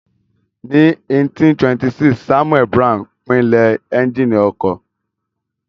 Ní 1826, Samuel Brown pinlẹ̀ éúnjínì ọkọ̀